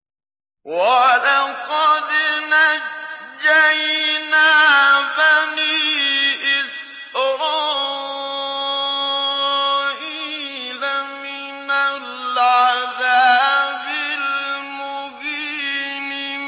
وَلَقَدْ نَجَّيْنَا بَنِي إِسْرَائِيلَ مِنَ الْعَذَابِ الْمُهِينِ